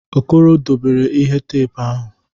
Okoro dobere ihe teepu ahụ.